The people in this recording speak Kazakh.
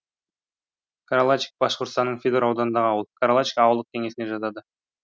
каралачик башқұртстанның федор ауданындағы ауыл каралачик ауылдық кеңесіне жатады